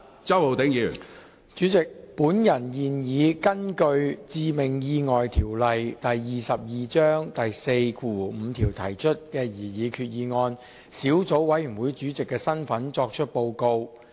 主席，本人現以根據《致命意外條例》第45條提出的擬議決議案小組委員會主席的身份作出報告。